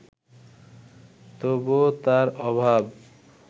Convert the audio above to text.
তবুও তার অভাব